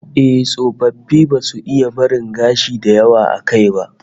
Eh, tsofaffi ba za su iya barin gashi da yawa a kai ba